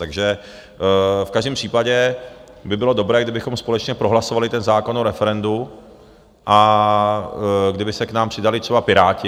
Takže v každém případě by bylo dobré, kdybychom společně prohlasovali ten zákon o referendu a kdyby se k nám přidali třeba Piráti.